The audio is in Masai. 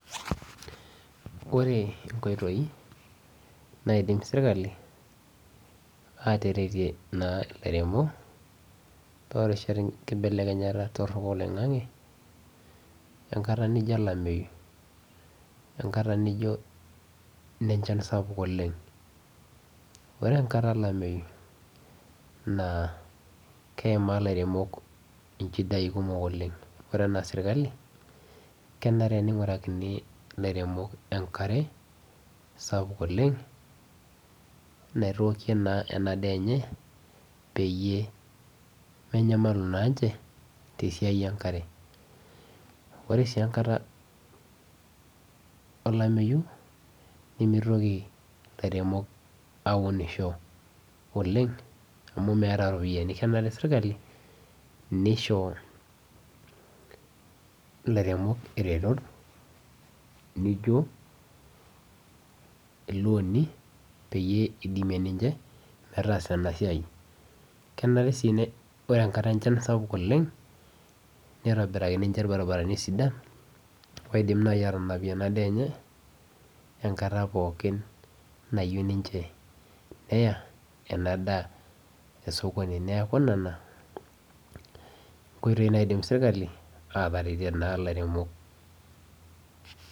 Wore inkoitoi naidim serkali aateretia naa ilairemok, toorishat enkibelekenyata torok oloingange, enkata nijo olameyu, enkata nijo inenchan sapuk oleng'. Wore enkata olameyu naa keimaa ilairemok inchidai kumok oleng'. Wore enaa serkali, kenare ningurakini ilairemok enkare sapuk oleng', naitookie naa ena daa enye, peyie menyamalu naanche, tesiai enkare. Wore sii enkata olameyu, nimitoki ilairemok aunisho oleng', amu meeta iropiyiani, kenare serkali, nisho ilairemok iretot nijo, ilooni peyie idimie ninche, metaasa ina siai. Kenare sii wore enkata enchan sapuk oleng', nitobirakini ninche ilbarabarani sidan, oidim naai aatanapie ena daa enye, enkata pookin nayieu ninche neya, ena daa osokoni. Neeku niana inkoitoi naidim serkali aateretia naa ilairemok.